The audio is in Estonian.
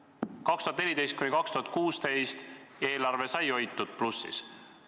Aastatel 2014–2016 sai eelarve hoitud plussis.